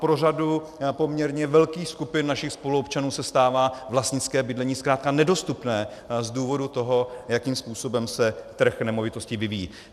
Pro řadu poměrně velkých skupin našich spoluobčanů se stává vlastnické bydlení zkrátka nedostupné z důvodu toho, jakým způsobem se trh nemovitostí vyvíjí.